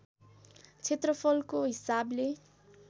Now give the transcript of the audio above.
क्षेत्रफलको हिसाबले